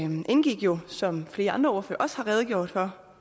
indgik jo som flere andre ordførere også har redegjort for